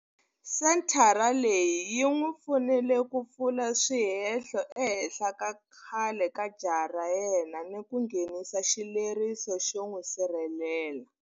Senthara leyi yi n'wi pfunile ku pfula swihehlo ehenhla ka khale ka jaha ra yena ni ku nghenisa xileriso xo n'wi sirhelela.